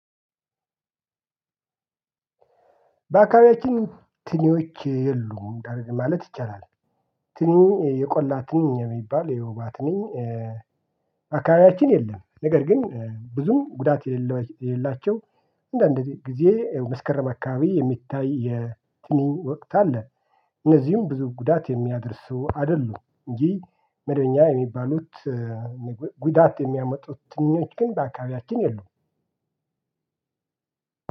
በአካባቢያችን ትንኞች የሉም ማለት ይቻላል። ትንኝ የቆላ ትንኝ ቢባል የወባ ትንኝ በአካባቢያችን የለም። ነገር ግን ብዙም ጉዳት የሌላቸው እንዳንድ ጊዜ መስከረም አካባቢ የሚታይ የትንኝ ወቅት አለ። እነዚህም ብዙ ጉዳት የሚያደርሱ አይደሉም እንጂ መደበኛ የሚባሉት ጉዳት የሚያመጡት ትንኞች ግን በአካባቢያችን የሉም።